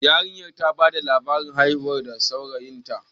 yarinyar ta bada labarin hirarsu da saurayinta